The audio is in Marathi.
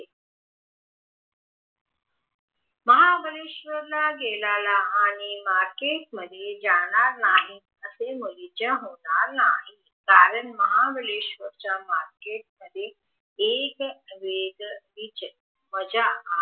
महाबळेश्वर ला गेलेल्या आणि मार्केट मध्ये जाणार नाही असे मुळीच होणार नाही कारण महाबळेशवर च्या मार्केट मध्ये वेगवेगळे